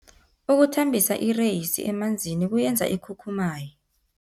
Ukuthambisa ireyisi emanzini kuyenza ikhukhumaye.